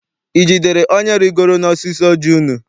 I jidere onye rigoro n'osisi ọji unu?